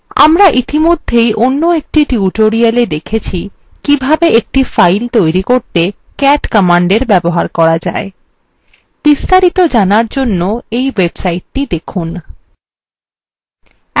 আমরা ইতিমধ্যেই অন্য একটি tutoriala দেখেছি কিভাবে একটি file তৈরি করতে cat command ব্যবহার করা যায় বিস্তারিত জানার জন্য we websitethe দেখুন